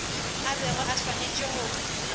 a bego a swanetše go